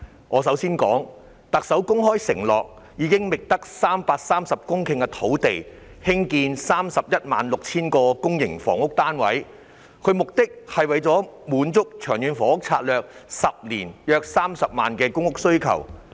我首先想談的是，特首公開承諾會在覓得的330公頃土地上興建 316,000 個公營房屋單位，以滿足《長遠房屋策略》未來10年約30萬個公屋單位的需求。